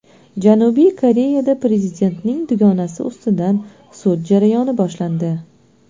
Janubiy Koreyada prezidentning dugonasi ustidan sud jarayoni boshlandi.